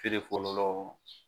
fɔlɔ lɔ